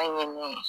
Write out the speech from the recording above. An ye nin ye